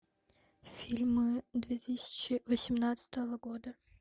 фильмы две тысячи восемнадцатого года